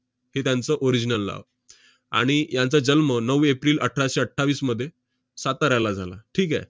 हे त्यांचं original नाव. आणि ह्यांचा जन्म नऊ एप्रिल अठराशे अठ्ठावीसमध्ये साताऱ्याला झाला. ठीक आहे?